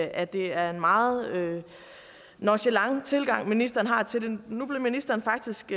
at det er en meget nonchalant tilgang ministeren har til nu blev ministeren faktisk